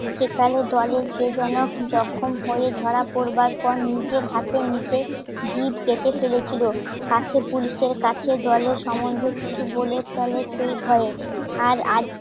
যেকালে জলের কে যেন জখম হয়ে ধরা পড়বার পর নিজের হাতে নিজে কেটে ফেলেছিল. কাছে পুলিশের কাছে দলের সম্বন্ধে কিছু বলে ফেলে সেই ভয়ে আর আজ